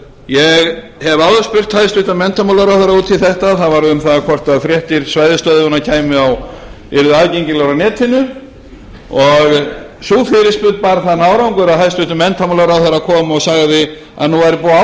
ég hef áður spurt hæstvirtur menntamálaráðherra út í þetta það var um það hvort fréttir svæðisstöðvanna yrðu aðgengilegar á netinu sú fyrirspurn bar þann árangur að hæstvirtur menntamálaráðherra kom og sagði að nú væri búið að ákveða